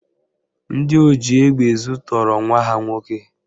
Ndị oji egbe ezu tọọrọ nwa ha nwoke